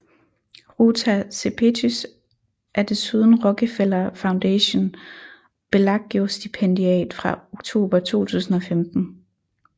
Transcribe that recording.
Ruta Sepetys er desuden Rockefeller Foundation Bellagio Stipendiat fra oktober 2015